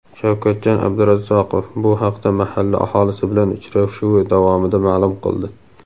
Shavkatjon Abdurazzaqov bu haqda mahalla aholisi bilan uchrashuvi davomida ma’lum qildi.